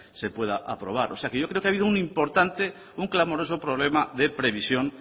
se pueda aprobar o sea que yo creo que ha habido un importante un clamoroso problema de previsión